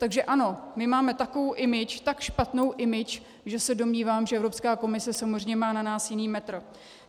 Takže ano, my máme takovou image, tak špatnou image, že se domnívám, že Evropská komise samozřejmě má na nás jiný metr.